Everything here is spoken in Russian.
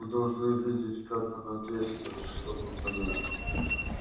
вы должны видеть как она действует чтобы понять